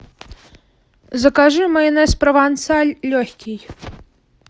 закажи майонез провансаль легкий